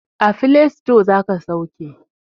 A filasito zaka sauke